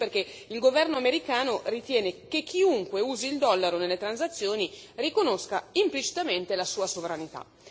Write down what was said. Questo perché il governo americano ritiene che chiunque usi il dollaro nelle transazioni riconosca implicitamente la sua sovranità.